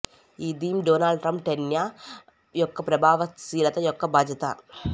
ఈ theme Donald Trump టెన్యా యొక్క ప్రభావశీలత యొక్క బాధ్యత